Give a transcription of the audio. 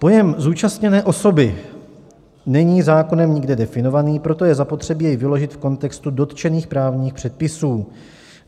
Pojem zúčastněné osoby není zákonem nikde definovaný, proto je zapotřebí jej vyložit v kontextu dotčených právních předpisů.